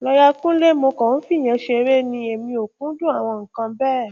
lọya kúnlẹ mo kàn ń fìyẹn ṣeré ni èmi ò kúndùn àwọn nǹkan bẹ́ẹ̀